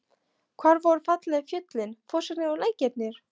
Hvar voru fallegu fjöllin, fossarnir og lækirnir?